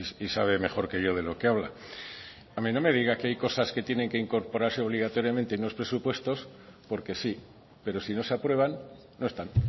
y sabe mejor que yo de lo que habla no me diga que hay cosas que tienen que incorporarse obligatoriamente en los presupuestos porque sí pero si no se aprueban no están